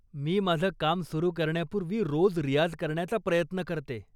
मी माझं काम सुरु करण्यापूर्वी रोज रियाझ करण्याचा प्रयत्न करते.